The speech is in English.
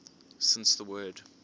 since the word